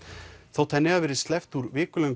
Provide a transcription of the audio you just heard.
þótt henni hafi verið sleppt úr